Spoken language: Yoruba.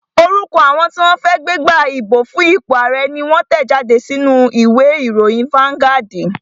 Orúkọ àwọn tí wọ́n fẹ́ gbégbá ìbò fún ipò ààrẹ́ ni wón tẹ̀ jáde sínú u ìwé ìròyìn fáuńgádì